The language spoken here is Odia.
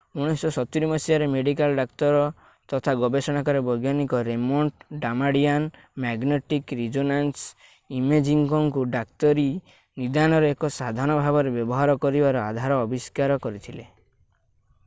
1970 ମସିହାରେ ମେଡିକାଲ୍ ଡାକ୍ତର ତଥା ଗବେଷଣାକାରୀ ବୈଜ୍ଞାନିକ ରେମଣ୍ଡ ଡାମାଡିଆନ୍ ମ୍ୟାଗ୍ନେଟିକ ରିଜୋନାନ୍ସ ଇମେଜିଙ୍ଗକୁ ଡାକ୍ତରୀ ନିଦାନର ଏକ ସାଧନ ଭାବରେ ବ୍ୟବହାର କରିବାର ଆଧାର ଆବିଷ୍କାର କରିଥିଲେ